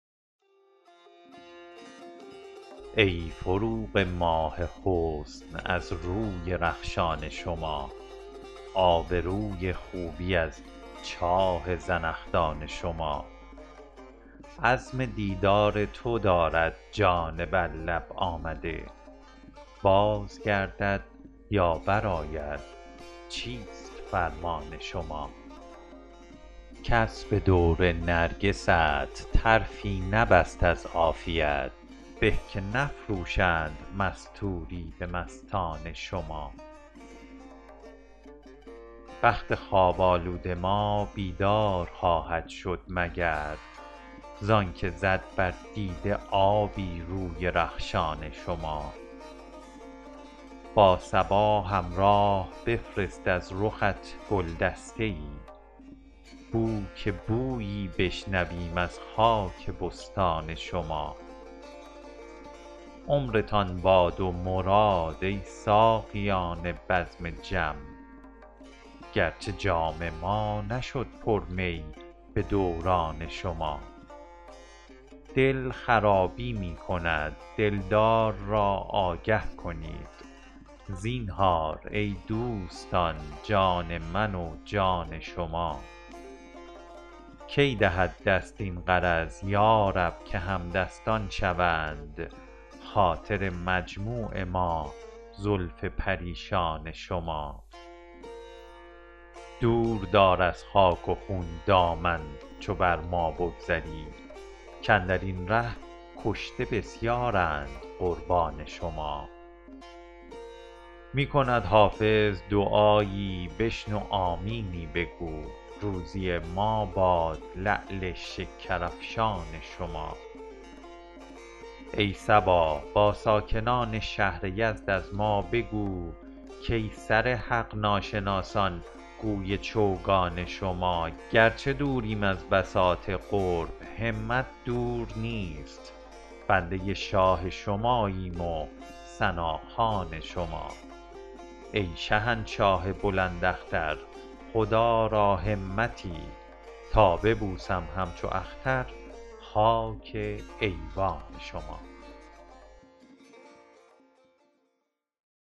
ای فروغ ماه حسن از روی رخشان شما آب روی خوبی از چاه زنخدان شما عزم دیدار تو دارد جان بر لب آمده باز گردد یا برآید چیست فرمان شما کس به دور نرگست طرفی نبست از عافیت به که نفروشند مستوری به مستان شما بخت خواب آلود ما بیدار خواهد شد مگر زان که زد بر دیده آبی روی رخشان شما با صبا همراه بفرست از رخت گل دسته ای بو که بویی بشنویم از خاک بستان شما عمرتان باد و مراد ای ساقیان بزم جم گرچه جام ما نشد پر می به دوران شما دل خرابی می کند دلدار را آگه کنید زینهار ای دوستان جان من و جان شما کی دهد دست این غرض یا رب که همدستان شوند خاطر مجموع ما زلف پریشان شما دور دار از خاک و خون دامن چو بر ما بگذری کاندر این ره کشته بسیارند قربان شما می کند حافظ دعایی بشنو آمینی بگو روزی ما باد لعل شکرافشان شما ای صبا با ساکنان شهر یزد از ما بگو کای سر حق ناشناسان گوی چوگان شما گرچه دوریم از بساط قرب همت دور نیست بنده شاه شماییم و ثناخوان شما ای شهنشاه بلند اختر خدا را همتی تا ببوسم همچو اختر خاک ایوان شما